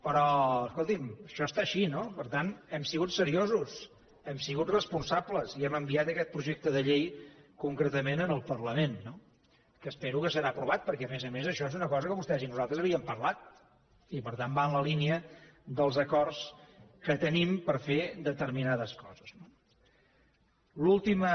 però escolti’m això està així no per tant hem sigut seriosos hem sigut responsables i hem enviat aquest projecte de llei concretament al parlament no que espero que serà aprovat perquè a més a més això és una cosa que vostès i nosaltres havíem parlat i per tant va en la línia dels acords que tenim per a fer determinades coses no l’última